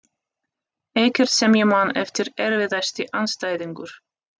Ekkert sem ég man eftir Erfiðasti andstæðingur?